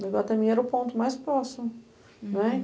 No Iguatemi era o ponto mais próximo. Uhum. Né?